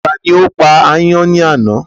Tani ó pa ayán ní àná?